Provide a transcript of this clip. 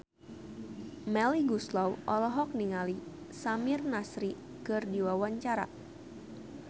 Melly Goeslaw olohok ningali Samir Nasri keur diwawancara